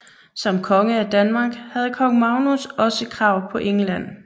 Som konge af Danmark havde kong Magnus også krav på England